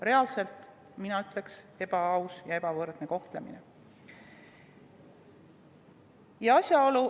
Reaalselt, mina ütleks, ebaaus ja ebavõrdne kohtlemine.